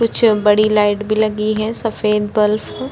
कुछ बड़ी लाइट भी लगी है सफेद बल्फ --